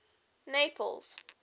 naples